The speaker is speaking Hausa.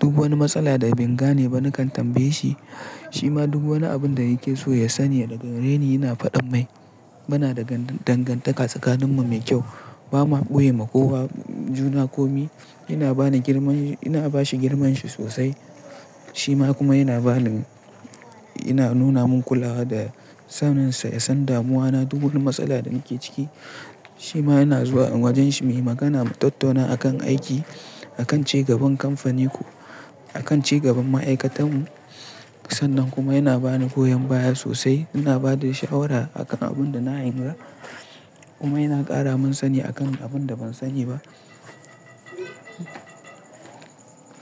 Duk wani matsala da ban gane ba nakan tambaye shi, shi ma duk wani abin da yake so ya sani daga gareni yana faɗa mai. Muna da dangantaka tsakaninmu mai kyau. Ba ma ɓoye ma kowa juna komi. Ina bani girman, ina bashi girman shi sosai, shi ma kuma yana bani. Ina nuna min kulawa da samunsa ya san damuwana. Duk wani matsala da nake ciki shi ma yana zuwa wajen shi muyi magana mu tattauna akan aiki, akan ci gaban kamfanin mu, akan ci gaban ma'aikatan mu. Sannan kuma yana bani goyon baya sosai, yana ba da shawara a kan abun da na yi mura. Kuma yana ƙara mun sani a kan abun da ban sani ba.